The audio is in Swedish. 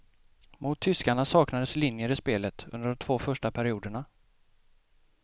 Mot tyskarna saknades linjer i spelet under de två första perioderna.